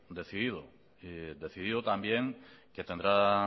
decidido también que tendrá